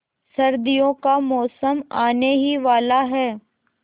सर्दियों का मौसम आने ही वाला है